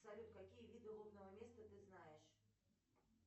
салют какие виды лобного места ты знаешь